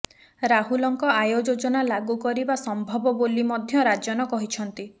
ରାହୁଲଙ୍କ ଆୟ ଯୋଜନା ଲାଗୁ କରିବା ସମ୍ଭବ ବୋଲି ମଧ୍ୟ ରାଜନ କହିଛନ୍ତି